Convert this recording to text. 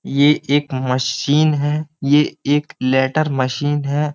ये एक मशीन है। ये एक लेटर मशीन है।